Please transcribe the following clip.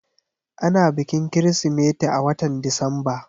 Ana bikin Kirsimeti a watan Disamba.